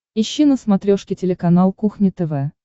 ищи на смотрешке телеканал кухня тв